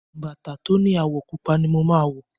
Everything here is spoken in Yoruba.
Bàtà tó ni àwọ̀ pupa ni mo máa wọ̀.